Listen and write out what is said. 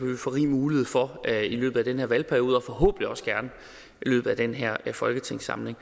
vi får rig mulighed for at gøre i løbet af den her valgperiode og forhåbentlig også gerne i løbet af den her folketingssamling